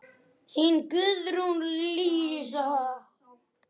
Þín, Guðrún Lísa.